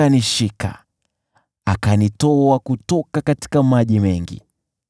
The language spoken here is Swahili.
Alinyoosha mkono kutoka juu na kunishika; alinitoa kutoka kilindi cha maji makuu.